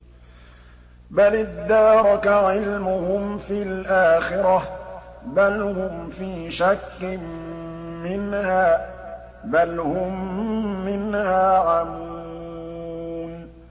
بَلِ ادَّارَكَ عِلْمُهُمْ فِي الْآخِرَةِ ۚ بَلْ هُمْ فِي شَكٍّ مِّنْهَا ۖ بَلْ هُم مِّنْهَا عَمُونَ